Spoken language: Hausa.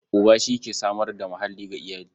Uba shi ke samar da muhalli ga iyali.